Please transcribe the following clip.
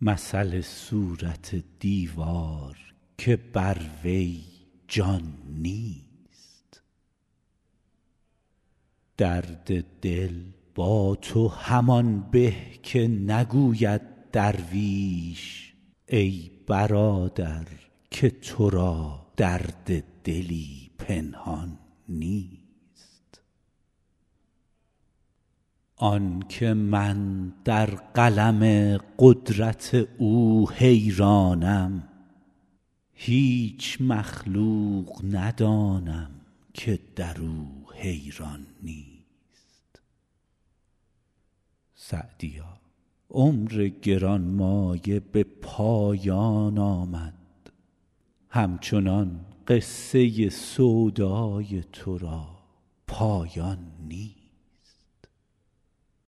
مثل صورت دیوار که در وی جان نیست درد دل با تو همان به که نگوید درویش ای برادر که تو را درد دلی پنهان نیست آن که من در قلم قدرت او حیرانم هیچ مخلوق ندانم که در او حیران نیست سعدیا عمر گران مایه به پایان آمد همچنان قصه سودای تو را پایان نیست